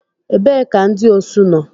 Ebee ka ndị osu nọ?